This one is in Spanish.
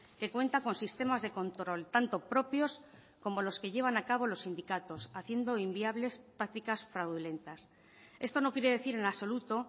que cuenta con sistemas de control tanto propios como los que llevan a cabo los sindicatos haciendo inviables prácticas fraudulentas esto no quiere decir en absoluto